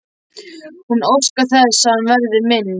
Hún óskar þess að hann verði minn.